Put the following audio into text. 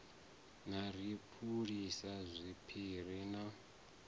na ri phulisa zwiphiri na